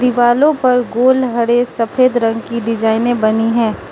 दिवालों पर गोल हरे सफेद रंग की डिजाइने बनी हैं।